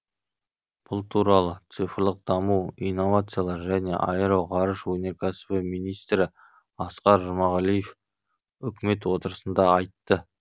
бұл туралы цифрлық даму инновациялар және аэроғарыш өнеркәсібі министрі асқар жұмағалив үкімет отырысында айтты